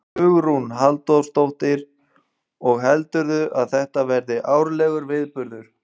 Hugrún Halldórsdóttir: Og heldurðu að þetta verði árlegur viðburður?